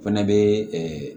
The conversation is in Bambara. O fɛnɛ bɛ